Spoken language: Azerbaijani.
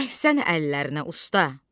Əhsən əllərinə usta.